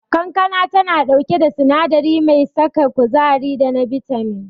Kankana tana dauke da sinadari mai saka kuzari da na bitamin.